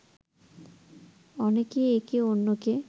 অনেকেই একে অন্যকে